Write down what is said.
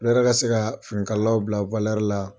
se ka fini kalalaw bila la.